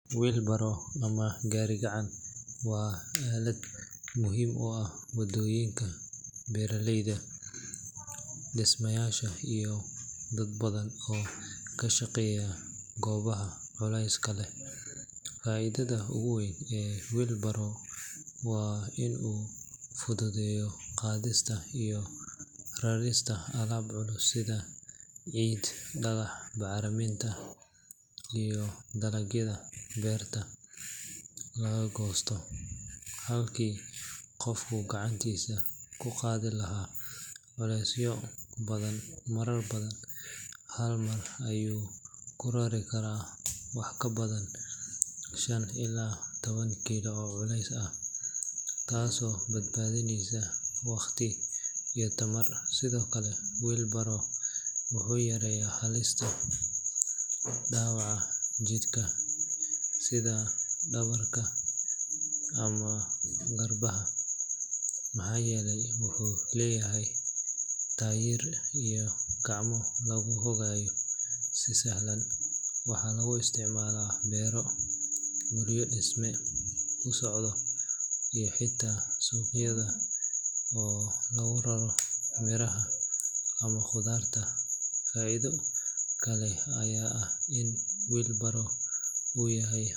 Wheelbarrow ama gaari-gacan waa aalad muhiim u ah shaqooyinka beeraleyda, dhismayaasha, iyo dad badan oo ka shaqeeya goobaha culayska leh. Faa’iidada ugu weyn ee wheelbarrow waa in uu fududeeyo qaadista iyo rarista alaab culus sida ciid, dhagax, bacriminta, iyo dalagyada beerta laga goosto. Halkii qofku gacantiisa ku qaadi lahaa culeysyo badan marar badan, hal mar ayuu ku rari karaa wax ka badan shan illaa toban kiilo oo culeys ah, taasoo badbaadinaysa waqti iyo tamar. Sidoo kale, wheelbarrow wuxuu yareeyaa halista dhaawaca jidhka sida dhabarka ama garbaha, maxaa yeelay wuxuu leeyahay taayir iyo gacmo lagu hagayo si sahlan. Waxaa lagu isticmaalaa beero, guryo dhisme ku socdo, iyo xitaa suuqyada oo lagu raro miraha ama khudaarta. Faa’iido kale ayaa ah in wheelbarrow uu yahay.